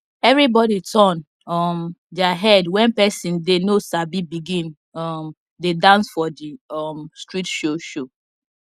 everybody turn um their head when person dey no sabi begin um dey dance for the um street show show